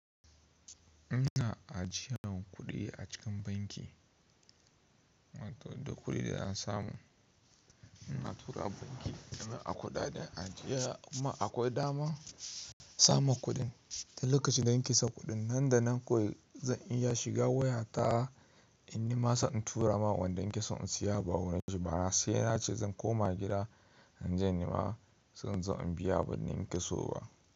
Ina ajiyen kuɗi a cikin banki, wato da kuɗi da na samu ina tura banki domin a kula da ajiya kuma akwai dama saman kuɗin. Tun lokacin da ni ka sa kuɗin nan da nan kawai zan iya shiga wayata in nima sa in tura ma wanda ni ke son in siya abu a warin shiba ba sai ance zan koma gida inje in nima sai in zo in biya abun da ni ke so ba.